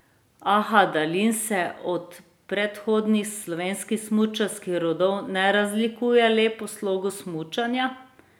A Hadalin se od predhodnih slovenskih smučarskih rodov ne razlikuje le po slogu smučanja.